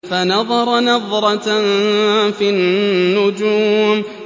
فَنَظَرَ نَظْرَةً فِي النُّجُومِ